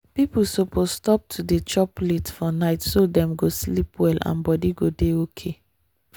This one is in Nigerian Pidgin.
people suppose stop to dey chop late for night so dem go sleep well and body go dey okay.